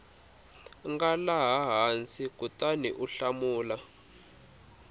nga laha hansi kutaniu hlamula